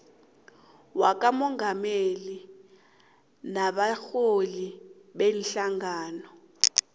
wakamongameli nabarholi beenhlangano